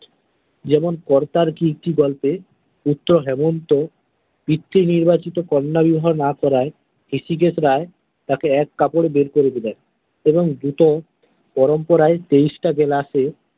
যেমন কর্তার কীর্তি গল্পে পুত্র হেমন্ত পৃত্বি নির্বাচিত কন্যা বিবাহ না করায় ঋষিকেশ রায় তাকে এক কাপড়ে বের করে দিলেন এবং দ্রুত পরম্পরায় তেইশটা glass এ।